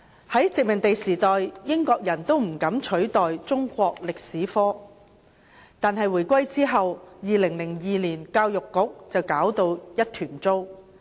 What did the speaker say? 在殖民地時代，英國人尚且不敢取締中史科，但回歸後，教育局在2002年卻搞到一團糟。